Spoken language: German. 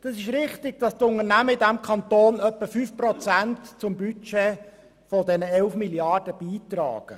Es ist richtig, dass die Unternehmen in diesem Kanton etwa 5 Prozent an unser Budget von 11 Mrd. Franken beitragen.